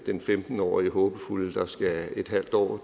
den femten årige håbefulde der skal et halvt år